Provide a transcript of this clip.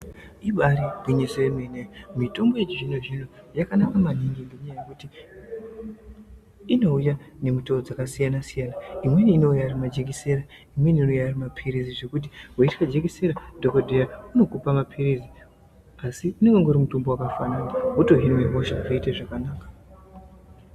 Ibari gwinyiso remene mene mitombo yechizvino zvino yakanaka maningi ngenyaya yekuti inouya nemutoo dzakasiyana siyana imweni inouya Ari majekiseni imweni inouya Ari mapirizi zvekuti weitya jekiseni dhokodheya anokupa mapirizi asi unenge ungori mutombo wakafanana wotohinwa hosha zvoita zvakanaka.